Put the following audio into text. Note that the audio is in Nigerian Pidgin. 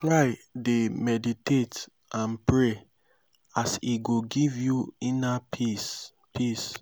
try dey meditate and pray as e go giv yu inner peace peace